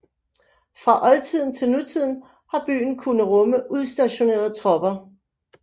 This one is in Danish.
Fra oldtiden til nutiden har byen kunnet rumme udstationerede tropper